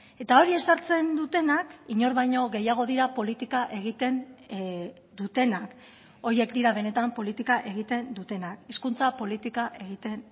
eta hori ezartzen dutenak inor baino gehiago dira politika egiten dutenak horiek dira benetan politika egiten dutenak hizkuntza politika egiten